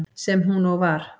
Sem hún og var.